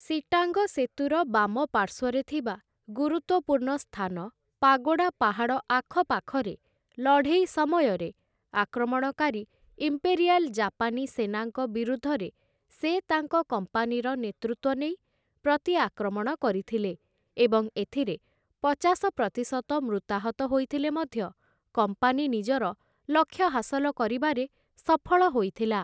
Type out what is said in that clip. Sittang ସେତୁର ବାମ ପାର୍ଶ୍ୱରେ ଥିବା ଗୁରୁତ୍ୱପୂର୍ଣ୍ଣ ସ୍ଥାନ ପାଗୋଡ଼ା ପାହାଡ଼ ଆଖପାଖରେ ଲଢ଼େଇ ସମୟରେ, ଆକ୍ରମଣକାରୀ ଇମ୍ପେରିଆଲ୍‌ ଜାପାନୀ ସେନାଙ୍କ ବିରୁଦ୍ଧରେ ସେ ତାଙ୍କ କମ୍ପାନୀର ନେତୃତ୍ୱ ନେଇ ପ୍ରତି ଆକ୍ରମଣ କରିଥିଲେ ଏବଂ ଏଥିରେ ପଚାଶ ପ୍ରତିଶତ ମୃତାହତ ହୋଇଥିଲେ ମଧ୍ୟ କମ୍ପାନୀ ନିଜର ଲକ୍ଷ୍ୟ ହାସଲ କରିବାରେ ସଫଳ ହୋଇଥିଲା ।